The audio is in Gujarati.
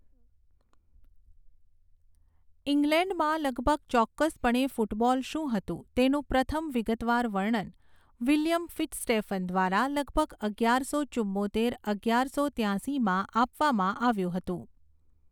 ઇંગ્લેન્ડમાં લગભગ ચોક્કસપણે ફૂટબૉલ શું હતું તેનું પ્રથમ વિગતવાર વર્ણન વિલિયમ ફિત્ઝસ્ટેફન દ્વારા લગભગ અગિયારસો ચુંમોતેર અગિયારસો ત્યાશીમાં આપવામાં આવ્યું હતું.